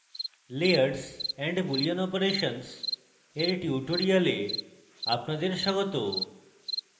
layers and boolean operations এর tutorial আপনাদের স্বাগত